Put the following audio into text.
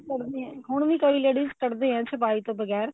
ਕੱਢਦੇ ਹੁਣ ਵੀ ਕਈ ladies ਕੱਢਦੇ ਐ ਛਪਾਈ ਤੋਂ ਬਗੈਰ